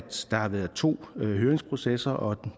der har været to høringsprocesser og